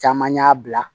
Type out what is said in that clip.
Caman y'a bila